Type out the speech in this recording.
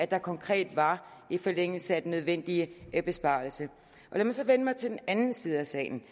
der konkret var i forlængelse af den nødvendige besparelse lad mig så vende mig til den anden side af salen